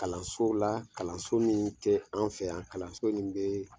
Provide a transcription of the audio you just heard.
Kalanso la kalanso min tɛ an fɛ yan kalanso nin bɛ